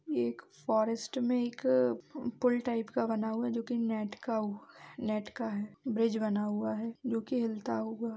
ये एक फॉरेस्ट मे एक पूल टाएप का बना हुआ है जो की नेट का‌ ब्रिज बना हुआ है जो की हिलता होगा।